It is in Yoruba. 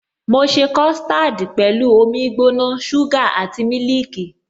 Mo ṣe custard pẹ̀lú omi gbóná, suga àti mílìkì.